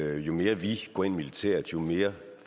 at jo mere vi går ind militært jo mere